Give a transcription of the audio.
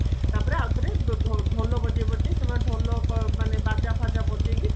ତାପରେ ୟାପରେ ଢୋ ଢୋଲ ବଜେଇ ବଜେଇ ସେମାନେ ଢୋଲ ମାନେ ବାଜା ଫାଜା ବଜେଇକି